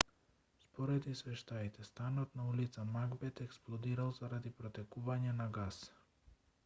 според извештаите станот на ул магбет експлодирал заради протекување на гас